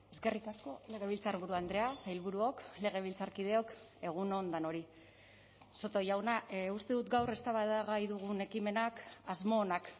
eskerrik asko legebiltzarburu andrea sailburuok legebiltzarkideok egun on denoi soto jauna uste dut gaur eztabaidagai dugun ekimenak asmo onak